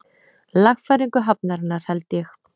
Lagfæringu hafnarinnar, held ég.